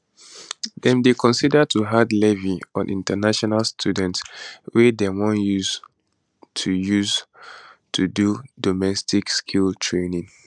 dem dey consider to add levy on international students wey dem wan use to use to do domestic skills training